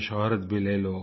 यह शौहरत भी ले लो